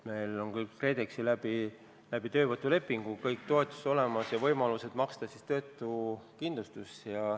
Meil on KredExi kaudu läbi töövõtulepingu kõik toetused olemas ja võimalused maksta töötuskindlustust.